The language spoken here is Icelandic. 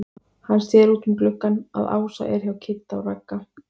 Hann sér út um gluggann að Ása er hjá Kidda og Ragga.